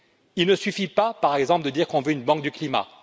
Il ne suffit pas, par exemple, de dire qu'on veut une banque du climat.